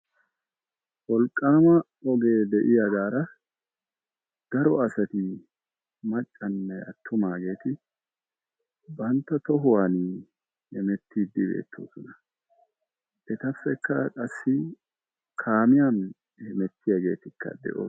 Wolqqaama ogee de'iyaagara daro asati maccanne attuma asati bantta tohuwaani heemettidi de'oosona. Etappekka qassi kaamiyaan hemettiyaagetika de'oosona.